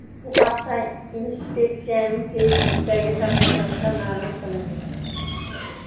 Bu haqda inspeksiyaning Facebook’dagi sahifasida ma’lum qilindi .